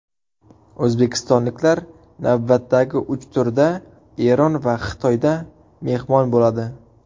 O‘zbekistonliklar navbatdagi uch turda Eron va Xitoyda mehmon bo‘ladi.